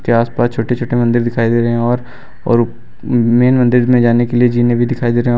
इसके आसपास छोटे छोटे मंदिर दिखाई दे रहे हैं और और मेन मंदिर में जाने के लिए जीने भी दिखाई दे रहे हैं।